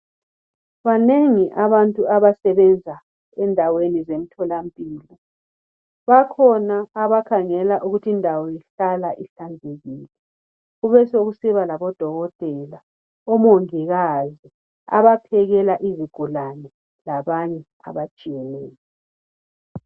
Banengi abantu abasebenza endaweni zemthola mpilo, bakhona abakhangela ukuthi indawo ihlala ihlanzekile, kube sekusiba labo Dokotela, omongikazi, abaphekela izigulane labanye abatshiyeneyo.